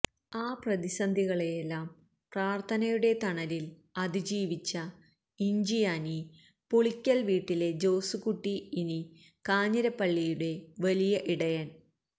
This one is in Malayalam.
ആ പ്രതിസന്ധികളെയെല്ലാം പ്രാര്ഥനയുടെ തണലില് അതിജീവിച്ച ഇഞ്ചിയാനി പുളിക്കല് വീട്ടിലെ ജോസുകുട്ടി ഇനി കാഞ്ഞിരപ്പള്ളിയുടെ വലിയ ഇടയന്